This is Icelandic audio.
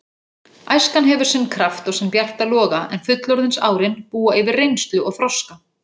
Æskan hefur sinn kraft og sinn bjarta loga en fullorðinsárin búa yfir reynslu og þroska.